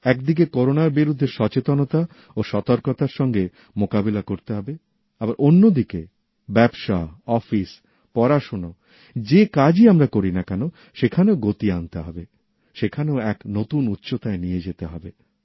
একদিকে করোনার বিরুদ্ধে সচেতনতা ও সতর্কতার সঙ্গে মোকাবিলা করতে হবে আবার অন্যদিকে ব্যবসাঅফিসপড়াশোনা যে কাজই আমরা করিনা কেন সেখানেও গতি আনতে হবে সেখানেও এক নতুন উচ্চতায় নিয়ে যেতে হবে